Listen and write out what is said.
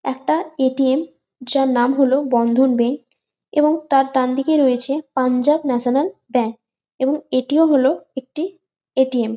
একটা এ.টি.এম যার নাম হলো বন্ধন ব্যাংক এবং তার ডান দিকে রয়েছে পাঞ্জাব ন্যাশনাল ব্যাংক এবং এ.টি.এম হল একটি এ.টি.এম ।